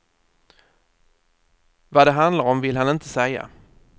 Vad det handlar om vill han inte säga.